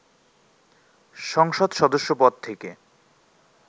সংসদ সদস্যপদ থেকে